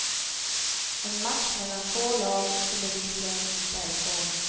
En match mellan två lag som bevisligen inte är i form.